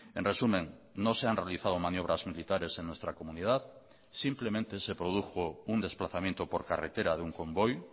en resumen no se han realizado maniobras militares en nuestra comunidad simplemente se produjo un desplazamiento por carretera de un convoy